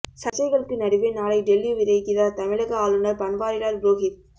சர்ச்சைகளுக்கு நடுவே நாளை டெல்லி விரைகிறார் தமிழக ஆளுநர் பன்வாரிலால் புரோஹித்